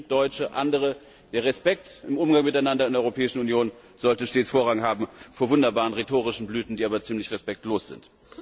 Griechen, Deutsche, andere der Respekt im Umgang miteinander in der Europäischen Union sollte stets Vorrang haben vor wunderbaren rhetorischen Blüten, die ziemlich respektlos sind.